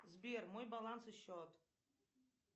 сбер мой баланс и счет